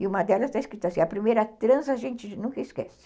E uma delas está escrita assim, a primeira transa a gente nunca esquece.